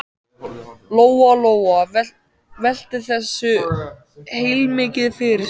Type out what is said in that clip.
Lóa-Lóa velti þessu heilmikið fyrir sér.